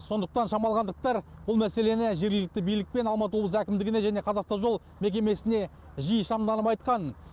сондықтан шамалғандықтар бұл мәселені жергілікті билік пен алматы облыс әкімдігіне және қазавтожол мекемесіне жиі шағымданып айтқан